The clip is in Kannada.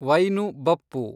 ವೈನು ಬಪ್ಪು